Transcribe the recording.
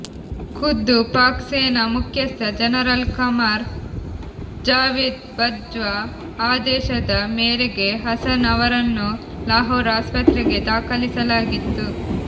ಖುದ್ದು ಪಾಕ್ ಸೇನಾ ಮುಖ್ಯಸ್ಥ ಜನರಲ್ ಖಮರ್ ಜಾವೇದ್ ಬಜ್ವಾ ಆದೇಶದ ಮೇರೆಗೆ ಹಸನ್ ಅವರನ್ನು ಲಾಹೋರ್ ಆಸ್ಪತ್ರೆಗೆ ದಾಖಲಿಸಲಾಗಿತ್ತು